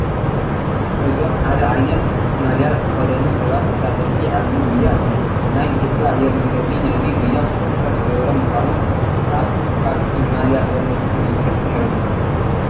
እዞም ሓደ ዓይነት ማልያ ዝተኸደኑ ሰባት ተሳተፍቲ ዓብዪ ጉያ እዮም፡፡ ናይ ኢትዮጵያ ኣየር መንገዲ ነዚ ጉያ ስፖንሰር ዝገበረ ምዃኑ ካብ ኣብቲ ማልያ ዘሎ ምልክት ንርዳእ፡፡